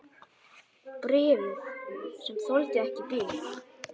Bréfið, sem þoldi ekki bið